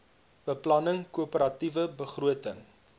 beplanning koöperatiewe begroting